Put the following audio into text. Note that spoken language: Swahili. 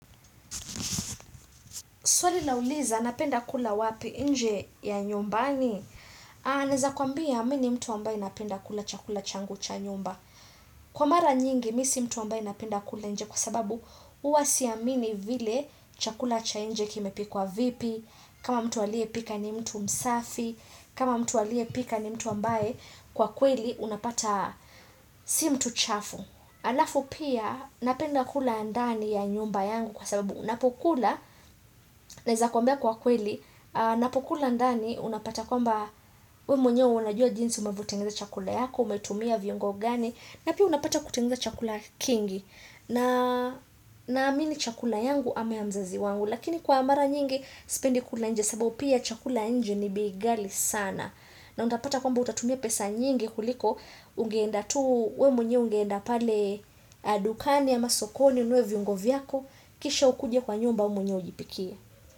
Swali lauliza, napenda kula wapi inje ya nyumbani? Anaeza kuambia, mini mtu ambaye napenda kula chakula changu cha nyumba. Kwa mara nyingi, misi mtu ambaye napenda kula inje kwa sababu, huasi amini vile chakula cha inje kime pikwa vipi, kama mtu alie pika ni mtu msafi, kama mtu alie pika ni mtu ambaye kwa kweli, unapata si mtu chafu. Alafu pia, napenda kula ndani ya nyumba yangu kwa sababu, Napokula, naeza kwambia kwa kweli, napokula ndani unapata kwamba we mwenyewe unajua jinsi umevutenguza chakula yako, umetumia viungo gani, napia unapata kutengeza chakula kingi, na na amini chakula yangu ama ya mzazi wangu, lakini kwa amara nyingi spendi kula nje, sababu pia chakula nje ni bei ghali sana. Na utapata kwamba utatumia pesa nyingi kuliko, ungeenda tu we mwenyewe ungeenda pale adukani ama sokoni unwe viungo vyako, kisha ukuje kwa nyumba umwenye ujipikie.